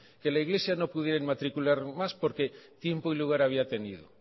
que la iglesia no pudiera inmatricular más porque tiempo y lugar había tenido